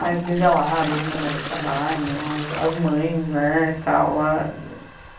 mais nivelada, as mulheres trabalham, as as mães, né tal